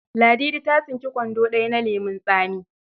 Ladidi ta tsinki kwando ɗaya na lemon tsami.